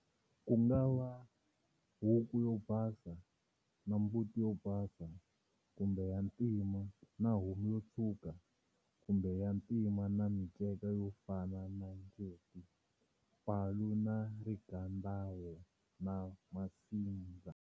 Ku nga va huku yo basa na mbuti yo basa kumbe ya ntima na homu yo tshwuka kumbe ya ntima na minceka yo fana na njeti, palu, na rigadawo na masindza.